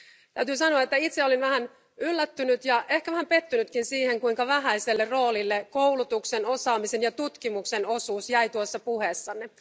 Täytyy sanoa, että itse olin vähän yllättynyt ja ehkä vähän pettynytkin siihen, kuinka vähäiselle roolille koulutuksen, osaamisen ja tutkimuksen osuus jäi tuossa puheessanne.